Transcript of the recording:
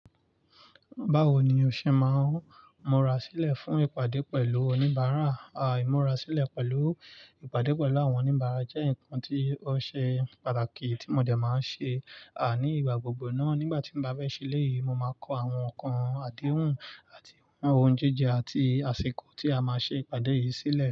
Báwo ni o ṣe máa ń múra sílẹ̀ fún ìpàdé pẹ̀lú oníbàárà? Ìmúra sílẹ̀ pẹ̀lú ìpàdé pẹ̀lú àwọn oníbàárà jẹ́ nǹkan tí ó ṣe pàtàkì tí mo dẹ máa ń ṣe. Ní ìgbà gbogbo náà nígbà tí mo bá fẹ́ ṣeléyìí, mo máa kọ àwọn ǹnkan àdéhùn àti ohun jíjẹ àti àsìkò tí a máa ṣe ìpàdé yìí sílẹ̀